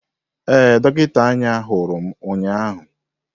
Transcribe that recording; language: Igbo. Ee, dọkịta anya hụrụ m ụnyahụ.